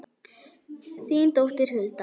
Þín dóttir, Hulda.